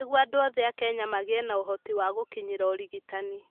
Nĩguo andũ othe a Kenya magĩe na ũhoti wa gũkinyĩra ũrigitani.